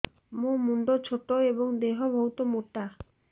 ମୋ ମୁଣ୍ଡ ଛୋଟ ଏଵଂ ଦେହ ବହୁତ ମୋଟା